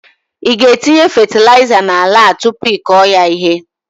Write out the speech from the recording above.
Ị ga etinye fetịlaịza na ala a tupu ị kọọ ya ihe?